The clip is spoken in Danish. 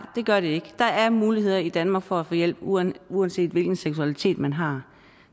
det gør det ikke der er muligheder i danmark for at få hjælp uanset uanset hvilken seksualitet man har